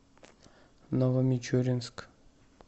новомичуринск